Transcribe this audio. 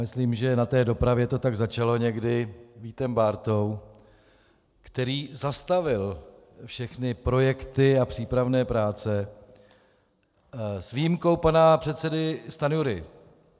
Myslím, že na té dopravě to tak začalo někdy Vítem Bártou, který zastavil všechny projekty a přípravné práce, s výjimkou pana předsedy Stanjury.